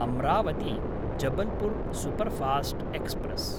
अम्रावती–जबलपुर् superfast express